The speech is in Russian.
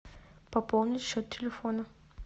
пополнить счет телефона